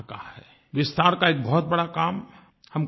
विस्तार का एक बहुत बड़ा काम हम कर चुके हैं